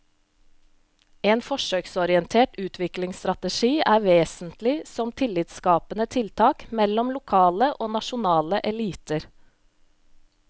En forsøksorientert utviklingsstrategi er vesentlig som tillitsskapende tiltak mellom lokale og nasjonale eliter.